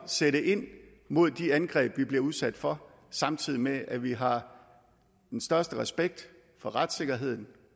sætte ind mod de angreb vi bliver udsat for samtidig med at vi har den største respekt for retssikkerheden